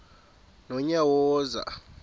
nonyawoza